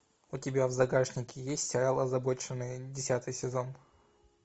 у тебя в загашнике есть сериал озабоченные десятый сезон